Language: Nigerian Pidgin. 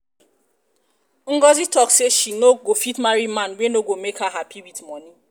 ngọzi talk say she um no go fit marry man wey no go make am happy with money